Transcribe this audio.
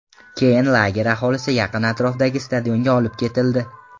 Keyin lager aholisi yaqin atrofdagi stadionga olib ketildi.